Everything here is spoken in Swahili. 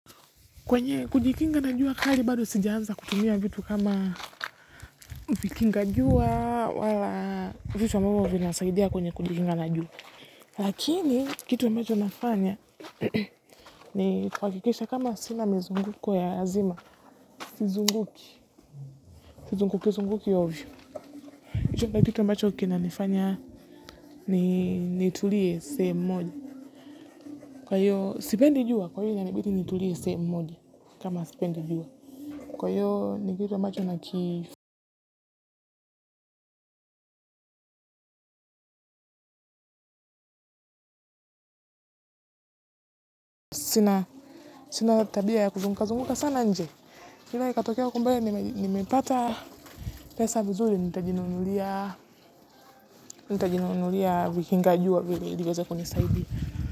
Kwenye kujikinga na jua kali bado sijaanza kutumia vitu kama vikinga jua wala vitu ambavyo vinasaidia kwenye kujikinga na jua lakini kitu ambacho nafanya ni kuhakikisha kama sina mizunguko ya lazima sizunguki sizunguki zunguki ovyo kitu ambacho kina nifanya ni nitulie sehemu moja kwa hiyo sipendi jua kwa hiyo inanibidi nitulie sehemu moja kama sipendi jua kwa hiyo ni kitu ambacho na ki. Sina tabia ya kuzunguka zunguka sana nje. Ila ikatokea huko mbele nimepata pesa vizuri, nitajinunulia, nitajinuunulia, vikinga jua, vile, ili iweze kuni saidia.